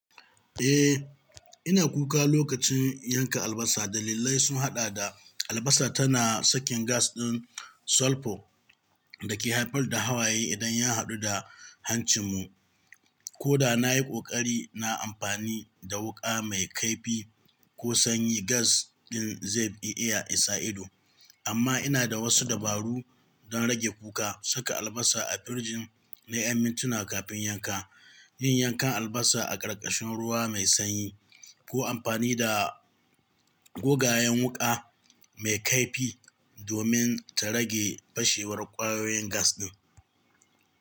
Eh, ina kuka lokacin yanka albasa, dalillai sun haɗa da albasa tana sakin gas ɗin sulphur da ke haifar da hawaye idan ya haɗu da hancinmu. Koda nayi ƙoƙari na amfani da wuƙa mai kaifi ko sanyi gas ɗin zai iya isa ido. Amma ina da wasu dabaru don rage kuka: saka albasa a firjin na ƴan mintuna kafin yanka, yin yankan albasa a ƙarƙashin ruwa mai sanyi, ko amfani da gogayen wuƙa mai kaifi domin ta rage fashewar ƙwayoyin gas ɗin.